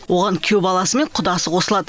оған күйеу баласы мен құдасы қосылады